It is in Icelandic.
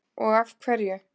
Og af hverju?